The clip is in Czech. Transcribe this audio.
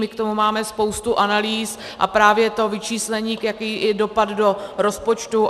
My k tomu máme spoustu analýz a právě to vyčíslení jaký je dopad do rozpočtu.